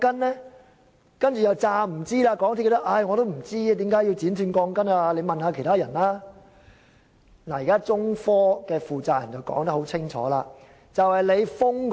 在港鐵公司推說不知道為何要剪短鋼筋後，現在中科負責人說得清清楚楚。